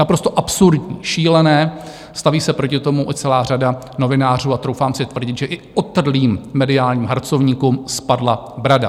Naprosto absurdní, šílené, staví se proti tomu i celá řada novinářů a troufám si tvrdit, že i otrlým mediálním harcovníkům spadla brada.